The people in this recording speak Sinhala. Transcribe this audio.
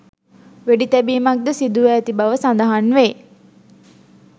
වෙඩිතැබීමක්ද සිදුව ඇති බව සඳහන් වේ